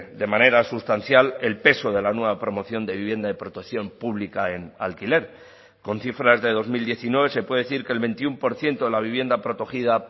de manera sustancial el peso de la nueva promoción de vivienda de protección pública en alquiler con cifras de dos mil diecinueve se puede decir que el veintiuno por ciento de la vivienda protegida